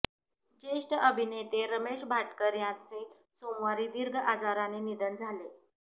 ज्येष्ठ अभिनेते रमेश भाटकर यांचे सोमवारी दीर्घ आजाराने निधन झाले